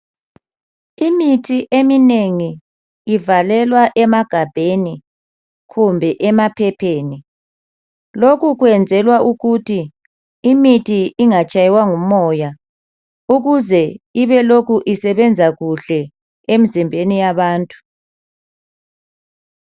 Imithi eminengi ivalelwa emagabheni kumbe emaphepheni lokhu kwenzelwa ukuthi imithi ingatshaywa ngumoya ukuzee ibe lokhu isebenza kuhle Emzimbeni yabantu